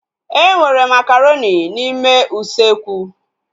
Enwere makaronị n'ime usekwu